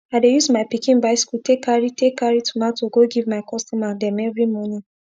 i dey use my pikin bicycle take carry take carry tomato go give my customer dem everi morning